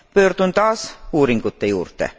Pöördun taas uuringute juurde.